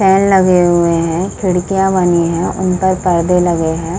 फेन लगे हुए हैं खिड़कियां बनी हैं उन पर पर्दे लगे हैं।